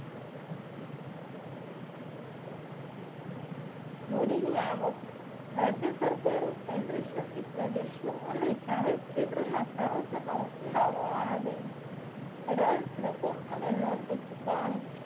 મૂડીની આવક રાજ્ય સરકારો કેન્દ્રશાસિત પ્રદેશો અને જાહેર ક્ષેત્રના સાહશનો ઉપનાવો આવીને એડવાન્સ રકમ અને લોનની ચુકવણી